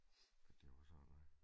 At det var sådan noget